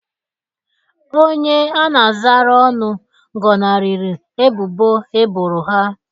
Onye a na-azara ọnụ gọnarịrị ebubo eboro ha.